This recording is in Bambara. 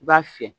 I b'a fiyɛ